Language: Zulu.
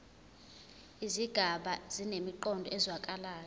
izigaba zinemiqondo ezwakalayo